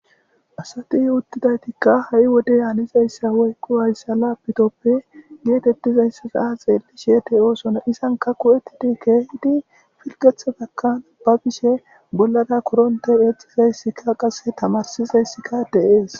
asati uttidaytikka ha7i wode anizayssa woyqqu wayssa laapitoppe geetettizayssa saa xeelli sheete oosona izanka ku7ettidi keehidi filgetha bakkan ba bishe bollada koronte exizayssika qasse tamarsizayssika deees